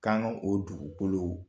K 'an ka o dugukolo